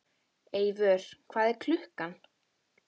Eivör, hvað er klukkan?